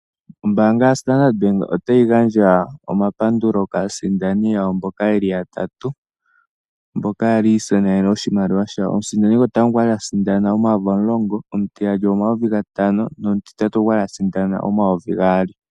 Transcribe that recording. Ombaanga ya Standard Bank otayi gandja omapandulo kaasindani yawo mboka yeli ya tatu mboka yali yi isindanene oshimaliwa shawo. Omusindani gotango okwali asindana omayovi omulongo, omutiyali omayovi gatano nomutitatu okwali asindana omayovi gaali.